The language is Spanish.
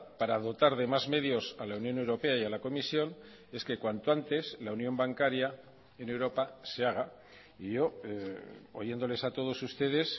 para dotar de más medios a la unión europea y a la comisión es que cuanto antes la unión bancaria en europa se haga y yo oyéndoles a todos ustedes